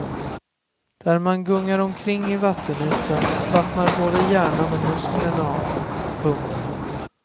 Där man gungar omkring i vattenytan slappnar både hjärnan och musklerna av. punkt